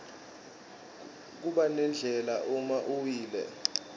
kubanendlala uma uwile